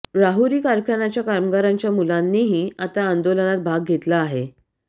राहुरी कारखानाच्या कामगारांच्या मुलांनीही आता आंदोलनात भाग घेतला आहे